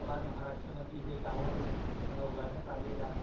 बाद महाराष्ट्र मध्ये हे टावर उभारण्यात आलेल आहे.